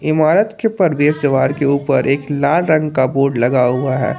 इमारत के परवेश द्वार के ऊपर एक लाल रंग का बोर्ड लगा हुआ है।